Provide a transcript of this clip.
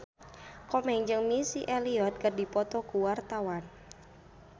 Komeng jeung Missy Elliott keur dipoto ku wartawan